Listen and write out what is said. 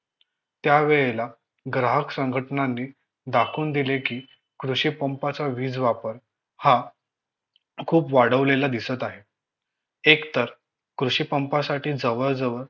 त्यावेळेला ग्राहक संघटनांनी दाखवून दिले कि कृषी पंपाचा वीज वापर हा खूप वाढवलेला दिसत आहे एक तर कृषि पंपासाठी जवळ जवळ